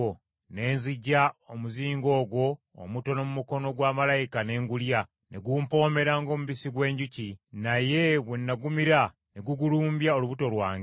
Ne nziggya omuzingo ogwo omutono mu mukono gwa malayika ne ngulya, ne gumpomera ng’omubisi gw’enjuki, naye bwe nagumira ne gugulumbya olubuto lwange.